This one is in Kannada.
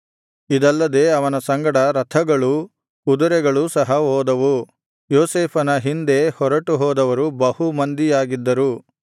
ಇದಲ್ಲದೆ ಅವನ ಸಂಗಡ ರಥಗಳೂ ಕುದುರೆಗಳೂ ಸಹ ಹೋದವು ಯೋಸೇಫನ ಹಿಂದೆ ಹೊರಟು ಹೋದವರು ಬಹು ಮಂದಿಯಾಗಿದ್ದರು